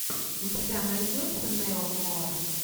у тебя найдется нео нуар